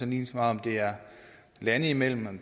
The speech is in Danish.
lige meget om det er lande imellem